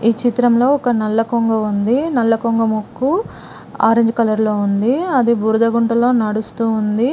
ఈ చిత్రంలో ఒక నల్ల కొంగ ఉంది నల్ల కొంగ ముక్కు ఆరంజ్ కలర్ లో ఉంది అది బురద గుంటలో నడుస్తూ ఉంది.